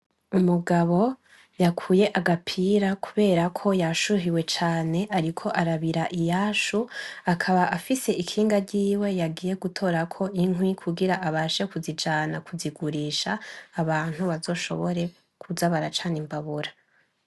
umugabo yakuye agapira kubera yashuhiwe cane ariko arabira iyasho akaba afise ikinga ryiwe yagiye gutorako inkwi kugira abashe kuzijana kuzigurisha abantu bazashobore kuza baracana imbabura.